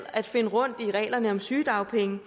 at finde rundt i reglerne om sygedagpenge